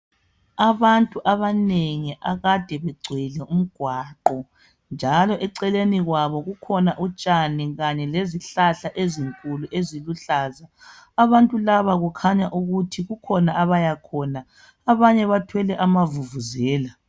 Abantu abanengi akade begcwele umgwaqo, njalo eceleni kwabo kukhona utshani kanye lezihlahla ezinkulu eziluhlaza. Abantu laba kukhanya ukuthi kukhona lapha abayakhona. Abanye bathwele amavuvuzela.